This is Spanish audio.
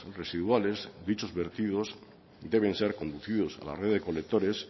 residuales dichos vertidos deben ser conducidos a la red de colectores